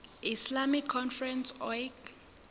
islamic conference oic